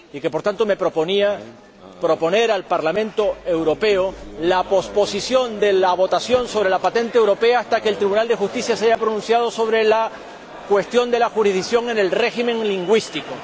Por tanto, mi intención era proponer al Parlamento Europeo que pospusiera la votación sobre la patente europea hasta que el Tribunal de Justicia se haya pronunciado sobre la cuestión de la jurisdicción en el régimen lingüístico.